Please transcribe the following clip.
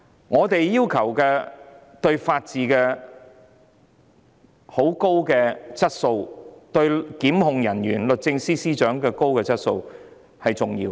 我們要求法治有很高的質素，也要求檢控人員及律政司司長有很高的質素，這點很重要。